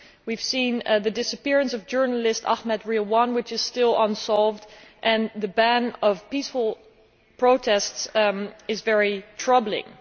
We have seen the disappearance of journalist Ahmed Rilwan, which is still unsolved, and the ban on peaceful protests is very troubling.